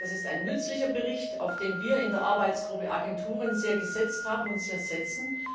Das ist ein nützlicher Bericht, auf den wir in der Arbeitsgruppe Agenturen sehr gesetzt haben und sehr setzen.